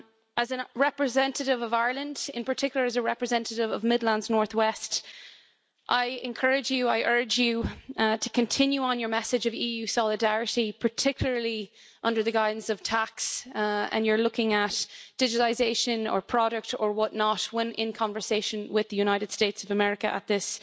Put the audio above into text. As a representative of Ireland, in particular as a representative of Midlands North West, I urge you to continue on your message of EU solidarity, particularly under the guidance of tax and you're looking at digitalisation or product or what not when in conversation with the United States of America at this